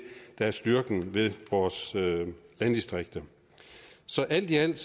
der er styrken ved vores landdistrikter så alt i alt